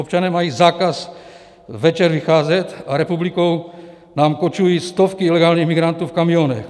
Občané mají zákaz večer vycházet a republikou nám kočují stovky ilegálních migrantů v kamionech.